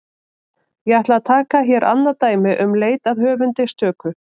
Ég ætla að taka hér annað dæmi um leit að höfundi stöku.